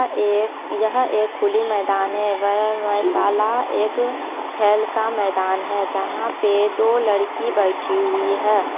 यह एक खुली मैदान है वह व्यायाम शाला एक खेल का मैदान है जहां पे दो लड़की बैठी हुई है।